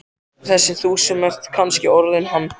Þessi þú sem ert kannski orðinn hann.